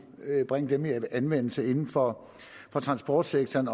bringe dem i anvendelse inden for transportsektoren